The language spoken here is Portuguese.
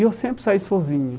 E eu sempre saí sozinho.